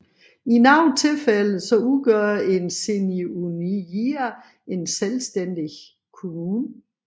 I nogle få tilfælde udgør én seniūnija en selvstændig kommune